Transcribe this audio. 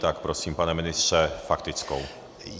Tak prosím, pane ministře, faktickou.